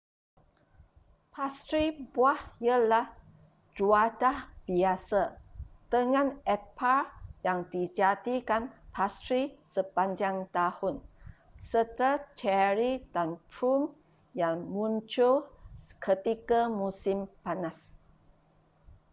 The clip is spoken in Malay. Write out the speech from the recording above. pastri buah ialah juadah biasa dengan epal yang dijadikan pastri sepanjang tahun serta ceri dan plum yang muncul ketika musim panas